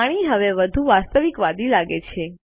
પાણી હવે વધુ વાસ્તવિકવાદી લાગે છે